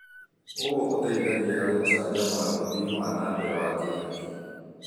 ũũ ũteithagia harĩ gũcanjamũra ũthii wa na mbere wa kĩhakiri.